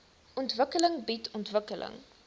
ontwikkeling bied ontwikkeling